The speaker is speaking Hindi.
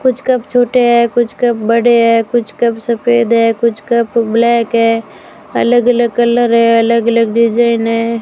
कुछ कप छोटे हैं कुछ कप बड़े हैं कुछ कप सफेद हैं कुछ कप ब्लैक है अलग अलग कलर है अलग अलग डिजाइन है।